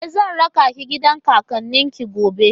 E, zan raka ki gidan kakannin ki gobe.